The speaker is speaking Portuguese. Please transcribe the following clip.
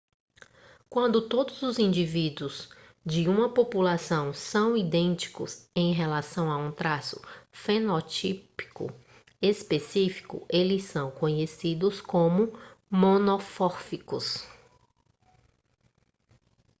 quando todos os indivíduos de uma população são idênticos em relação a um traço fenotípico específico eles são conhecidos como monomórficos